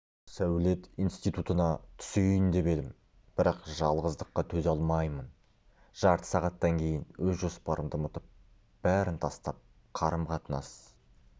сәулет институтына түсейін деп едім бірақ жалғыздыққа төзе алмаймын жарты сағаттан кейін өз жоспарымды ұмытып бәрін тастап қарым-қатынас